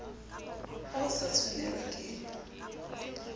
ha o sa tshwanelwa ke